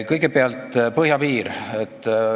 Kõigepealt põhjapiir.